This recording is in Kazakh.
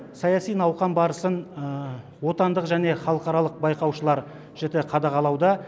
саяси науқан барысын отандық және халықаралық байқаушылар жіті қадағалауда